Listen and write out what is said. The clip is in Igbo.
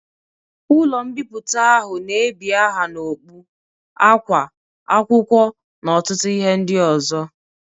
Ụlọ mbipụta ahụ na ebi aha n'okpu, akwa, akwụkwọ n'ọtụtụ ihe ndị ozo